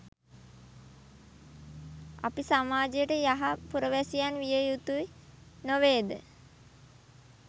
අපි සමාජයට යහ පුරවැසියන් විය යුතුය් නොවේද.